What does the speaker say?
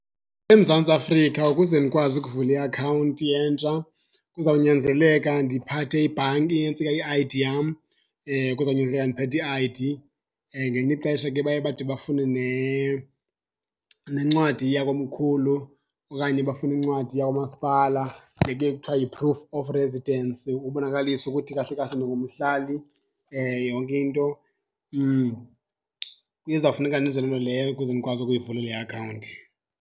EMzantsi Afrika ukuze ndikwazi ukuvula iakhawunti entsha kuzawunyanzeleka ndiphathe ibhanki i-I_D yam. Kuzawunyanzeleka ndiphethe i-I_D. Ngelinye ixesha ke baye bade bafune nencwadi yakomkhulu okanye bafune incwadi yakwamasipala, le ke kuthiwa yi-proof of residence ubonakalisa ukuthi kahle kahle ndingumhlali. Yonke into kuzawufuneka ndenze loo nto leyo ukuze ndikwazi ukuyivula le akhawunti.